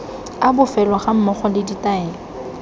a bofelo gammogo le ditaelo